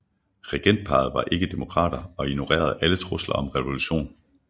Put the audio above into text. Regentparret var ikke demokrater og ignorerede alle trusler om revolution